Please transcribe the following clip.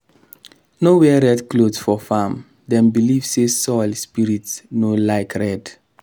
no wear red cloth for farm dem believe say soil spirits no like red.